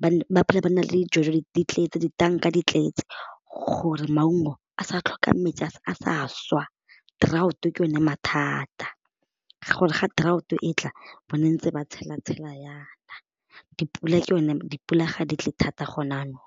ba ba phela ba nna le di jojo di tletse ditanka di tletse gore maungo a sa tlhoka metsi a sa swa drought ke yone mathata gore ga drought e tla bo ntse ba tshela tshela ya na dipula ke yone dipula ga di tle thata gone jaanong.